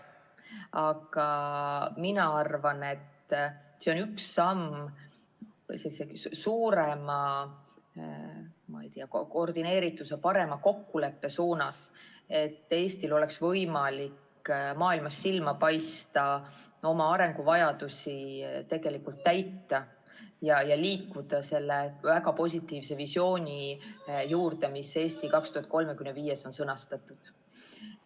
Aga mina arvan, et see on üks samm suurema koordineerituse, parema kokkuleppe suunas, et Eestil oleks võimalik maailmas silma paista, oma arenguvajadusi täita ja liikuda selle väga positiivse visiooni poole, mis strateegiadokumendis "Eesti 2035" on sõnastatud.